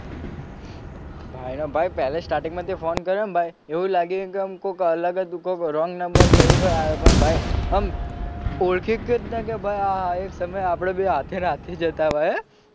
ભાઈ ને ભાઈ પેલા starting માં તે ફોન કર્યો ને ભાઈ એવું લાગ્યું કે આમ કોક અલગ જ કોક wrong number કે એવું પણ ભાઈ આમ ઓળખી ન કે ભાઈ આહા એક સમયે આપડે બેય સાથે ને સાથે જ હતા ભાઈ.